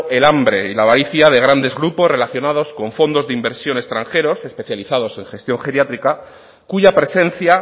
el hambre y la avaricia de grandes grupos relacionados con fondos de inversión extranjeros especializados en gestión geriátrica cuya presencia